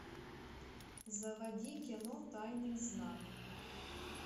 заводи кино тайный знак